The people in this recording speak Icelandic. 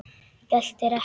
Geltir ekki.